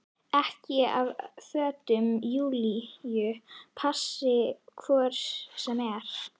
Ekkert af fötum Júlíu passi hvort sem er.